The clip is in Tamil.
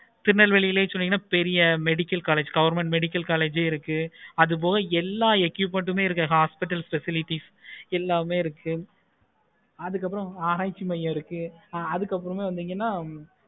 திருநெல்வேலியில் சொன்னிங்கன்னா பெரிய medical college, government medical college இருக்கு. அது போகோ எல்லா equipments உம் hospital facilities எல்லாமே இருக்கு. அதுக்கு அப்பறம் ஆராய்ச்சி மய்யம் இருக்கு. அதுக்கு அப்பறம் வண்டிங்கள்